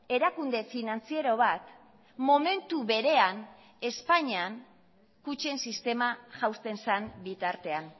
erakunde finantziero bat momentu berean espainian kutxen sistema jausten zen bitartean